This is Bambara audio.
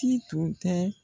Ti tun tɛ.